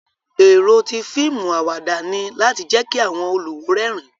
Ero ti fiimu awada ni lati jẹ ki awọn oluwo rẹrin